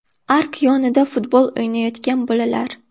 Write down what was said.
Ark yonida futbol o‘ynayotgan bolalar.